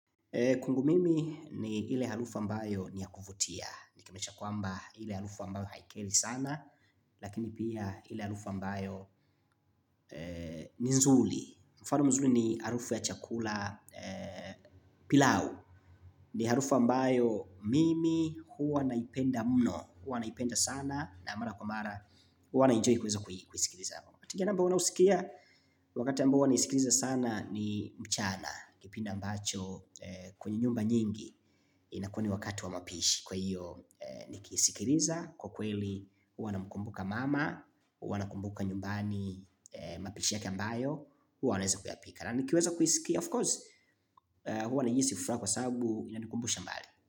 Kwangu mimi ni ile harufu ambayo ni ya kuvutia. Nikimaanisha kwamba ile harufu ambayo haikeri sana. Lakini pia ile harufu ambayo ni nzuri. Mfano mzuri ni harufu ya chakula pilau. Ni harufu ambayo mimi huwa naipenda mno. Huwa naipenda sana na mara kwa mara. Huwa naienjoy kuweza kusikiliza namba wanausikia. Wakati ambao huwa naisikiliza sana ni mchana kipindi ambacho kwenye nyumba nyingi inakuwa ni wakati wa mapishi kwa hiyo kisikiliza kwa kweli huwa namkumbuka mama huwa nakumbuka nyumbani mapishi yake ambayo wanaweza kuyapika of course huwa najihisi furaha kwa sababu inanikumbusha mbali.